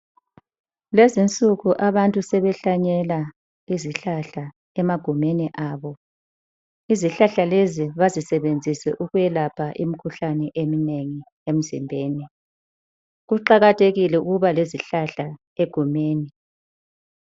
Lezinsuku abantu sebehlanyela izihlahla emagumeni abo. Izihlahla lezi bazisebenzise ukwelapha imikhuhlane eminengi emzimbeni. Kuqakathekile ukuba lezihlahla egumeni.